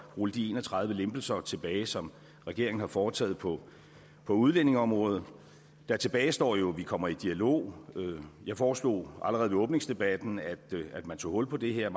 rulle de en og tredive lempelser tilbage som regeringen har foretaget på på udlændingeområdet der tilbagestår jo så at vi kommer i dialog jeg foreslog allerede ved åbningsdebatten at man tog hul på det her